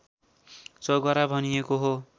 चौघरा भनिएको हो